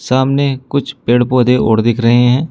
सामने कुछ पेड़ पौधे और दिख रहे हैं।